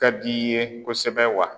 ka d'i ye kosɛbɛ wa.